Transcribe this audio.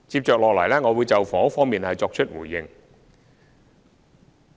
接下來，我會就房屋方面作出回應。